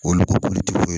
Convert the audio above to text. Olu ka kulutiw ye